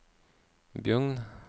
Bjugn